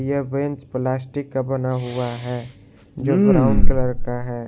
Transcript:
यह bench plastic का बना हुआ है जो ब्राउन कलर का है।